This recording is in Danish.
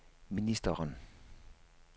ministeren